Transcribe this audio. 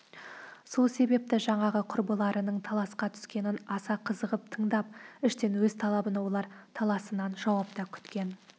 сол себепті жаңағы құрбыларының таласқа түскенін аса қызығып тыңдап іштен өз талабына олар таласынан жауап та күткен